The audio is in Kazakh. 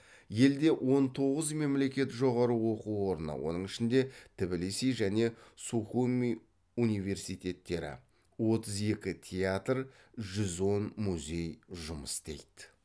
елде он тоғыз мемлекет жоғары оқу орны отыз екі театр жүз он музей жұмыс істейді